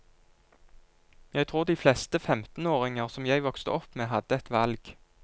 Jeg tror de fleste femtenåringer som jeg vokste opp med, hadde et valg.